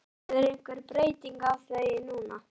Verður einhver breyting á því núna?